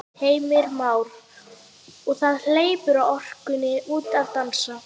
Heimir Már: Og það hleypur orkunni út að dansa?